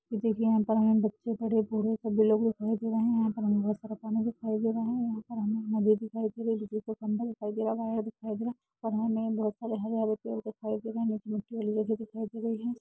देखिये यहां पर हमें बड़े बच्चे बूढ़े सभी लोग दिखाई दे रहे हैं। यहाँ बहुत सारा पानी दिखाई दे रहा है बिजली का खंभा दिखाई दे रहा है और हमें हरे- हरे पेड़ दिखाई दे रहे है।